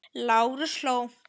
Lárus hló.